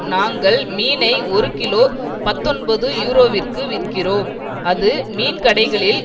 நாங்கள் மீனை ஒரு கிலோ பத்தொன்பது யூரோவிற்கு விற்கிறோம் அது மீன் கடைகளில்